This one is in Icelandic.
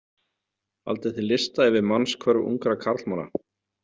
Haldið þið lista yfir mannshvörf ungra karlmanna?